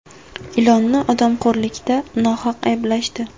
Ilonni odamxo‘rlikda nohaq ayblashdi.